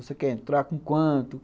Você quer entrar com quanto?